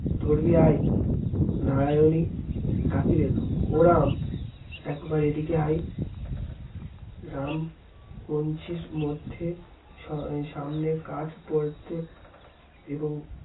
ধরবি আয় নারায়ণি ডাকিলেন ও রাম একবার এই দিকে আয় রাম কঞ্চির মধ্যে সামনে কাঠ পড়াতে এবং